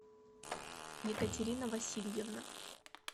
екатерина васильевна